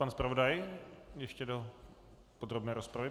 Pan zpravodaj ještě do podrobné rozpravy.